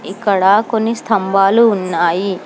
ఇక్కడ కొన్ని స్తంభాలు ఉన్నాయి.